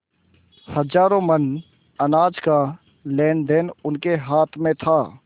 हजारों मन अनाज का लेनदेन उनके हाथ में था